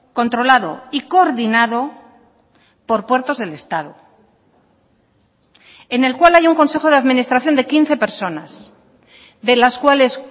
controlado y coordinado por puertos del estado en el cual hay un consejo de administración de quince personas de las cuales